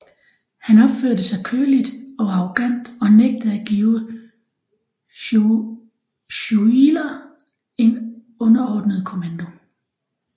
Han opførte sig køligt og arrogant og nægtede at give Schuyler en underordnet kommando